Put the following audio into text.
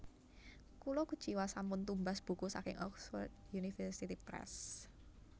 Kula kuciwa sampun tumbas buku saking Oxford University Press